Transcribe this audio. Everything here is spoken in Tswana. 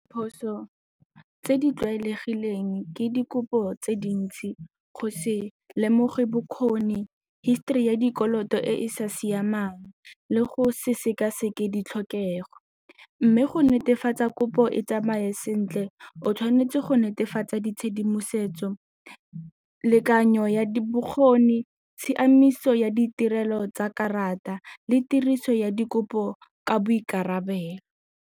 Diphoso tse di tlwaelegileng ke dikopo tse dintsi go se lemoge bokgoni, histori ya dikoloto e e sa siamang le go se sekaseke ditlhokego mme go netefatsa kopo e tsamaye sentle o tshwanetse go netefatsa ditshedimosetso, lekanya ya bokgoni, tshiamiso ya ditirelo tsa karata le tiriso ya dikopo ka boikarabelo.